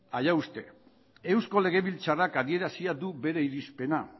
allá usted eusko legebiltzarrak adierazia du bere irizpena